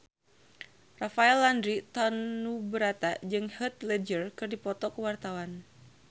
Rafael Landry Tanubrata jeung Heath Ledger keur dipoto ku wartawan